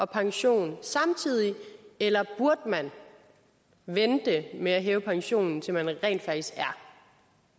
pension samtidig eller burde man vente med at hæve pensionen til man rent faktisk er